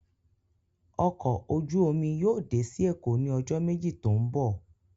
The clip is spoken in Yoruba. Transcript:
Ọkọ ojú omi yóò dé sí Èkó ní ọjọ́ méjì tó ń bọ̀